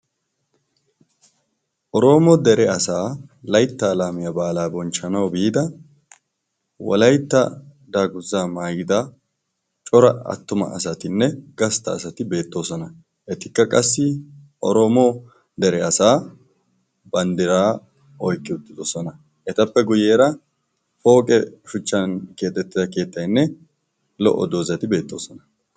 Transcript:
Oroomo dere asaa laytta laamiyaa baalaa bonchchanau biida wolaytta daanguza maayida cora attuma asatinne gastta asati beettoosona. etikka qassi romo dere asaa banddiraa oykki uttidosona etappe guyyeera pooqe shuchchan keexettida keettaynne lo"o doozazati beettoosona.